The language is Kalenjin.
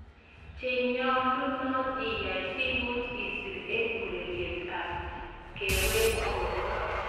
Chenyolunot iyai siimuch isir eng' ureriet ab kewech borto.